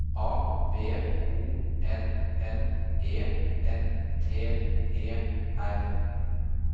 A B O N N E N T E R